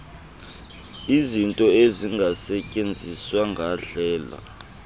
izinto ezingasetyenziswa ngandlela